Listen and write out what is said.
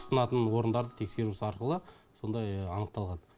тұтынатын орындарды тексеру ісі арқылы сондай анықталған